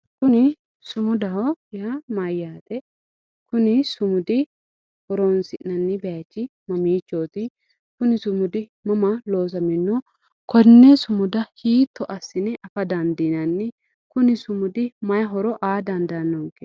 Kuni sumudaho yaa mayyate? Kuni sumudi horoonsi'nanni baychi mamiichooti? Kuni sumudi mama loosamino? Konne sumuda hiitto assine afa dandiinanni Kuni sumudi may horo aa dandaannonke ?